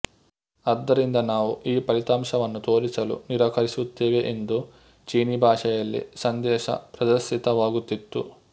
ಆದ್ದರಿಂದ ನಾವು ಈ ಫಲಿತಾಂಶವನ್ನು ತೋರಿಸಲು ನಿರಾಕರಿಸುತ್ತೇವೆ ಎಂದು ಚೀನೀ ಭಾಷೆಯಲ್ಲಿ ಸಂದೇಶ ಪ್ರದರ್ಶಿತವಾಗುತ್ತಿತ್ತು